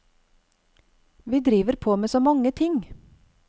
Vi driver på med så mange ting.